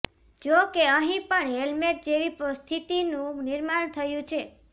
જો કે અહીં પણ હેલમેટ જેવી સ્થિતિનું નિર્માણ થયું છે